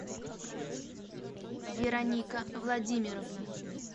вероника владимировна